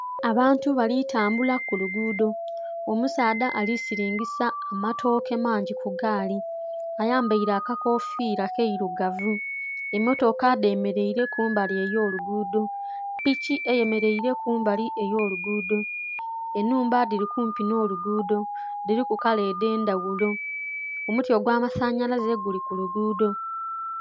Abantu bali tambula ku lugudho omusaadha ali silingisa amatoke mangi ku gaali ayambaire aka kofira keirugavu emotoka dhe mereire kumbali eyo lugudho, piki eye mereire kumbali eyo lugudho, enhumba dhili kumpi nho lugudho dhiliku kala edhendhaghulo, omuti ogwa masanhalaze guli ku lugudho.